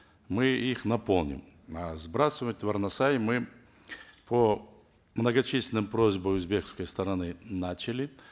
мы их наполним а сбрасывать в арнасай мы по многочисленным просьбам узбекской стороны начали